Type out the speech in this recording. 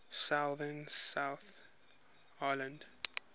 southern south island